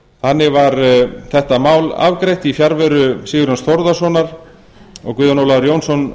þannig var þetta mál afgreitt í fjarveru sigurjóns þórðarsonar og guðjón ólafur jónsson